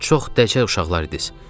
Çox dəcəl uşaqlar idiz.